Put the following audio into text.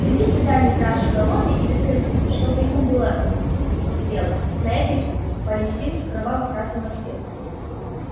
приди сюда митраша голодный и без корзины что бы ему было тут делать на этой палестинке кроваво красного цвета